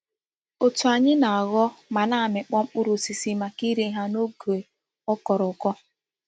Otu anyi na-agho ma na-amikpo mkpuru osisi maka ire ha n'oge o koro uko.